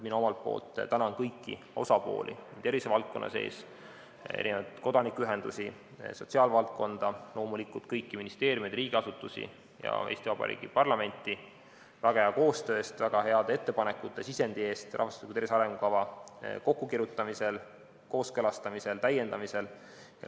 Mina tänan kõiki osapooli tervisevaldkonna sees, kodanikuühendusi, sotsiaalvaldkonda, loomulikult kõiki ministeeriume, riigiasutusi ja Eesti Vabariigi parlamenti väga hea koostöö eest ja väga heade ettepanekute ja sisendi eest rahvastiku tervise arengukava kokkukirjutamisel, kooskõlastamisel ja täiendamisel.